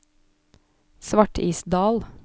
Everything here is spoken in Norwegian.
Svartisdal